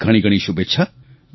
ઘણીઘણી શુભેચ્છા